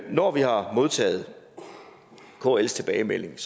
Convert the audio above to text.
når vi har modtaget kls tilbagemelding